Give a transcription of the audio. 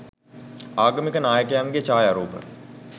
ආගමික නායකයන්ගේ ඡායාරූප